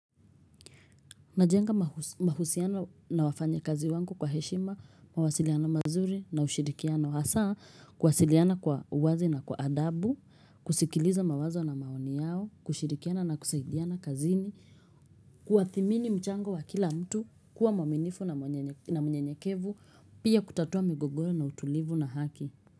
Ninajenga mahusiano na wafanya kazi wangu kwa heshima, mawasiliano mazuri na ushirikiano hasa, kuwasiliana kwa uwazi na kwa adabu, kusikiliza mawazo na maoni yao, kushirikiana na kusaidiana kazini, kuwathimini mchango wa kila mtu, kuwa mwaminifu na mnyenyekevu, pia kutatua migogoro na utulivu na haki.